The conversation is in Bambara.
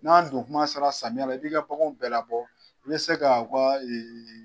N'an don kuma sera samiya la i b'i ka baganw bɛɛ la bɔ. I be se ka u ka